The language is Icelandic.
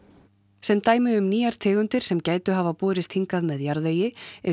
sem dæmi um nýjar tegundir sem gætu hafa borist hingað með jarðvegi eru